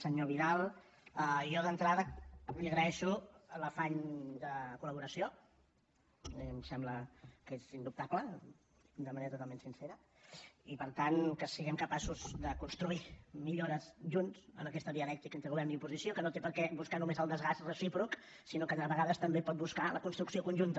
senyor vidal jo d’entrada li agraeixo l’afany de col·laboració a mi em sembla que és indubtable de manera totalment sincera i per tant que siguem capaços de construir millores junts en aquesta dialèctica entre govern i oposició que no té per què buscar només el desgast recíproc sinó que de vegades també pot buscar la construcció conjunta